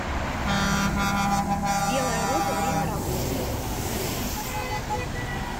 белая роза время работы